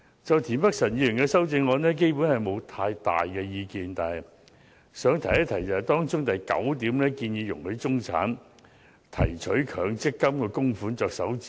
就田北辰議員的修正案，我基本上沒有太大意見，但想一提當中的第九點，即容許中產提取強積金供款作首次置業之用。